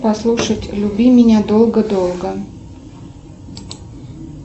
послушать люби меня долго долго